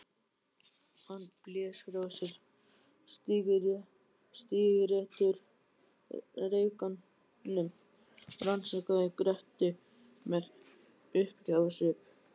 Hann blés frá sér sígarettureyknum og rannsakaði Gretti með uppgjafarsvip.